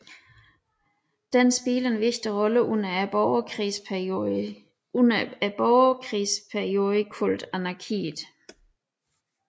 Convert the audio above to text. Den spillede en vigtig rolle under borgerkrigsperioden kaldet anarkiet